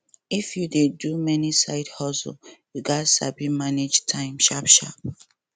if you dey do many side hustle you gats sabi manage time sharpsharp